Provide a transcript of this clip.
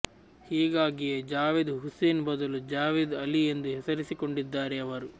ಹೀಗಾಗಿಯೇ ಜಾವೇದ್ ಹುಸೇನ್ ಬದಲು ಜಾವೇದ್ ಅಲಿ ಎಂದು ಹೆಸರಿಸಿಕೊಂಡಿದ್ದಾರೆ ಅವರು